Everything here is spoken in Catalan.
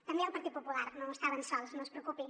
també el partit popular no estaven sols no es preocupi